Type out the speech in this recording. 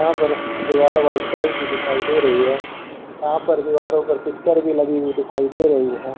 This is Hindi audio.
यहां पर दीवार व्हाइट कलर की दिखाई दे रही है यहां पर दीवारों पर पिक्चर भी लगी हुई दिखाई दे रही है।